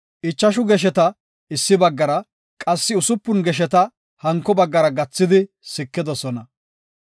Ichashu gesheta issi baggara, qassi usupun gesheta hanko baggara gathidi sikidosona.